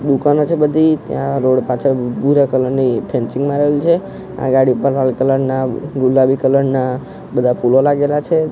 દુકાનો છે બધી ત્યાં રોડ પાછળ ભૂરા કલર ની ફેન્સીંગ મારેલી છે આ ગાડી ઉપર લાલ કલર ના ગુલાબી કલર ના બધા ફૂલો લાગેલા છે.